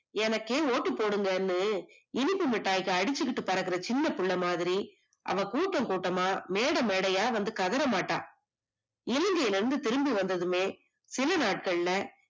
என்னகே ஓட்டுப்போடுங்கனு இனிப்பு மிட்டாய்க்கு அடுச்சுகிட்டு பறக்கற சின்ன பிள்ள மாதிரி அவ கூட்டம்கூட்டமா மேடமேடையா வந்து கதற மாட்டா. இலங்கைல இருந்து திரும்பி வந்ததுமே சிலநாட்கள்ள